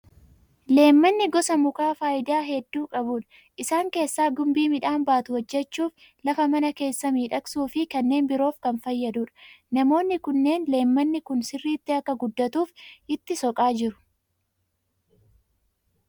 Leemmanni gosa mukaa faayidaa hedduu qabudha. Isaan keessaa gumbii midhaan baatu hojjechuuf, lafa mana keessaa miidhagsuu fi kanneen biroof kan fayyadudha. Namoonni kunneen leemmanni kun sirriitti akka guddatuuf itti soqaa jiru.